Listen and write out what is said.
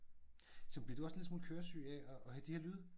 Sådan bliver du også en lille smule køresyg af at have de her lyde?